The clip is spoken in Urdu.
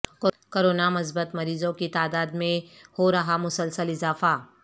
کورونا مثبت مریضوں کی تعداد میںہو رہا مسلسل اضافہ